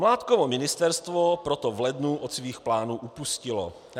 Mládkovo ministerstvo proto v lednu od svých plánů upustilo.